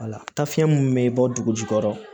Wala taa fiɲɛ mun bɛ bɔ dugu jukɔrɔ